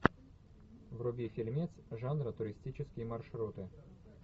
вруби фильмец жанра туристические маршруты